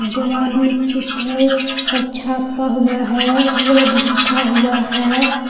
दीवार में चित्र सब छापा हुआ है वर्ड लिखा हुआ है।